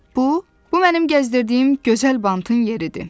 Bu, bu mənim gəzdirdiyim gözəl bantın yeridir.